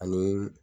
Ani